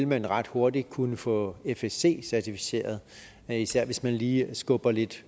man ret hurtigt kunne få fsc certificeret især hvis man lige skubber lidt